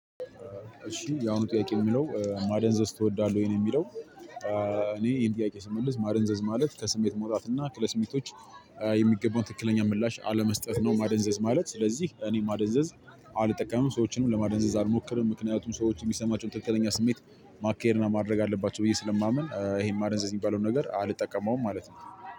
እሺ ያው ጥያቄ የሚለው ማደንዘዝ ትወዳለህ ወይ? ነው የሚለው። እኔ ይሄን ጥያቄ ስመልስ ማደንዘዝ ማለት ከስሜት መውጣት እና ለስሜቶች የሚገባውን ትክክለኛ ምላሽ አለመስጠት ነው ማደንዘዝ ማለት። ስለዚህ እኔ ማደንዘዝ አልጠቀምም ሰዎችንም ለማደንዘዝ አልሞክርም። ምክንያቱም ሰዎች የሚሰማቸውን ትክክለኛ ስሜት ማካሄድ እና ማድረግ አለባቸው ብዬ ስለማምን ይሄን ማደንዘዝ የሚባለውን ነገር አልጠቀመውም ማለት ነው።